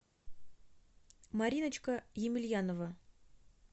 мариночка емельянова